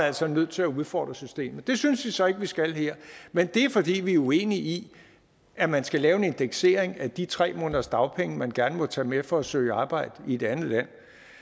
altså nødt til at udfordre systemet det synes vi så ikke vi skal her men det er fordi vi er uenige i at man skal lave en indeksering af de tre måneders dagpenge man gerne må tage med for at søge arbejde i et andet land